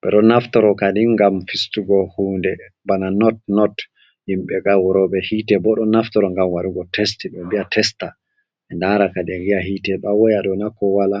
be ɗo naftoro kadi ngam fistugo hunɗe, bana not-not. Yimbe haurobe hite bo ɗon naftoro ngam warugo testin, be mbiya testa be ndaraka ɗin viya hite do ha woya ɗona ko wala.